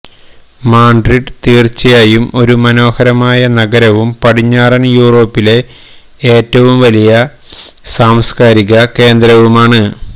Madrid തീർച്ചയായും ഒരു മനോഹരമായ നഗരവും പടിഞ്ഞാറൻ യൂറോപ്പിലെ ഏറ്റവും വലിയ സാംസ്കാരിക കേന്ദ്രവുമാണ്